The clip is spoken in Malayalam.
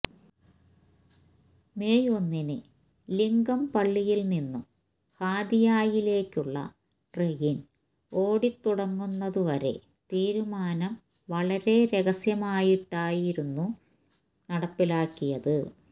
മെയ് ഒന്നിന് ലിങ്കംപള്ളിയില് നിന്നും ഹാതിയയിലേക്കുള്ള ട്രെയിന് ഓടിത്തുടങ്ങുന്നത് വരെ തീരുമാനം വളരെ രഹസ്യമായിട്ടായിരുന്നു നടപ്പിലാക്കിയത്